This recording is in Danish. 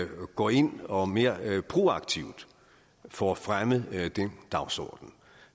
går ind og mere proaktivt får fremmet den dagsorden